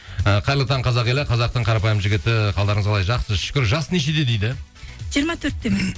і қайырлы таң қазақ елі қазақтың қарапайым жігіті қалдарыңыз қалай жақсы шүкір жасы нешеде дейді жиырма төрттемін